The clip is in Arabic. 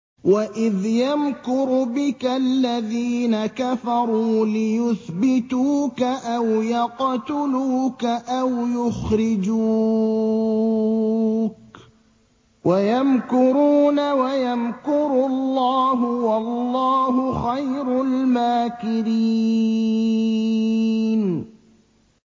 وَإِذْ يَمْكُرُ بِكَ الَّذِينَ كَفَرُوا لِيُثْبِتُوكَ أَوْ يَقْتُلُوكَ أَوْ يُخْرِجُوكَ ۚ وَيَمْكُرُونَ وَيَمْكُرُ اللَّهُ ۖ وَاللَّهُ خَيْرُ الْمَاكِرِينَ